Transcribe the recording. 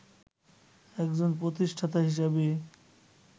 একজন প্রতিষ্ঠাতা হিসেবে